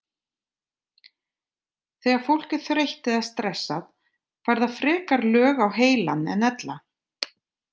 Þegar fólk er þreytt eða stressað fær það frekar lög á heilann en ella.